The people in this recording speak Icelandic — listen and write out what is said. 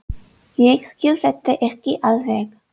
Ég skil þetta ekki alveg.